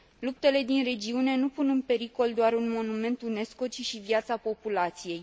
Luptele din regiune nu pun în pericol doar un monument UNESCO ci și viața populației.